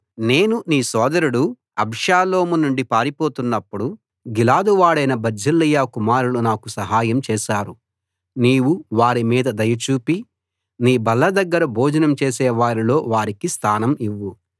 నేను నీ సోదరుడు అబ్షాలోము నుండి పారిపోతున్నప్పుడు గిలాదు వాడైన బర్జిల్లయి కుమారులు నాకు సహాయం చేశారు నీవు వారి మీద దయ చూపి నీ బల్ల దగ్గర భోజనం చేసే వారిలో వారికి స్థానం ఇవ్వు